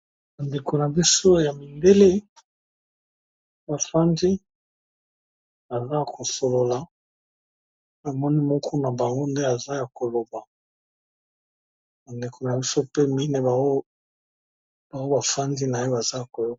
Bandeko na biso ya mibele bafandi aza kosolola emoni moku na bango nde aza ya koloba bandeko na biso pe mine baho bafandi na ye baza koyo.